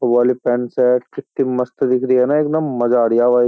वो वाली pant shirt कित्ती मस्त दिख रही है ना एक दम मज़ा आ रिया है भाई।